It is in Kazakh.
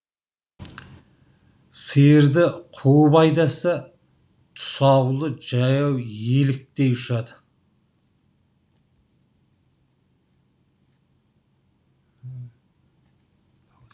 сиырды қуып айдаса тұсаулы жаяу еліктей ұшады